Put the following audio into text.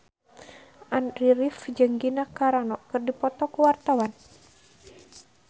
Andy rif jeung Gina Carano keur dipoto ku wartawan